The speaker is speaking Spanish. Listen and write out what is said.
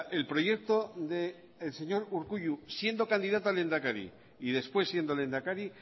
el proyecto del señor urkullu siendo candidato a lehendakari y después siendo lehendakari